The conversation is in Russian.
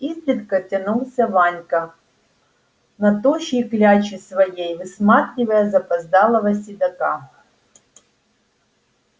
изредка тянулся ванька на тощей кляче своей высматривая запоздалого седока